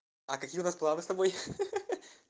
а какие у нас планы с тобой ха ха